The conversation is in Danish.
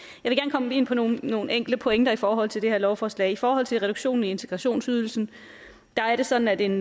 komme ind på nogle nogle enkelte pointer i forhold til det her lovforslag i forhold til reduktionen i integrationsydelsen der er det sådan at en